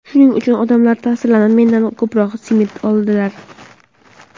Shuning uchun odamlar ta’sirlanib, mendan ko‘proq simit oladilar.